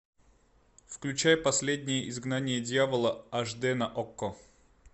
включай последнее изгнание дьявола аш дэ на окко